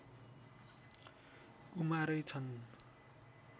कुमारै छन्